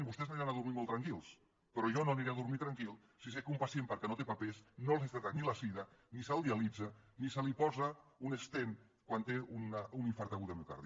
vostès aniran a dormir molt tranquils però jo no aniré a dormir tranquil si sé que un pacient perquè no té papers no se li tracta la sida ni se’l dialitza ni se li posa un stentquan té un infart agut de miocardi